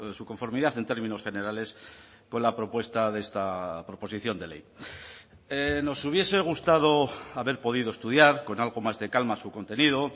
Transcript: su conformidad en términos generales con la propuesta de esta proposición de ley nos hubiese gustado haber podido estudiar con algo más de calma su contenido